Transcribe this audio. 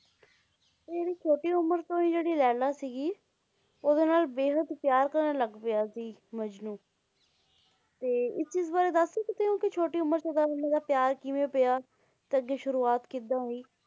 ਤੇ ਇਹ ਛੋਟੀ ਉਮਰ ਤੋਂ ਹੀ ਜਿਹੜੀ ਲੈਲਾ ਸੀ ਗੀ ਉਹਦੇ ਨਾਲ ਬੇਹੱਦ ਪਿਆਰ ਕਰਨ ਲੱਗ ਪਿਆ ਸੀ ਮਜਨੂੰ ਤੇ ਇਸ ਚੀਜ ਬਾਰੇ ਦੱਸ ਸਕਦੇ ਹੋ ਕੇ ਛੋਟੀ ਉਮਰ ਚ ਇਹਨਾਂ ਦੋਨਾਂ ਦਾ ਪਿਆਰ ਕਿਵੇਂ ਪਿਆ ਤੇ ਅੱਗੇ ਸ਼ੁਰੂਵਾਤ ਕਿਦਾਂ ਹੋਈ।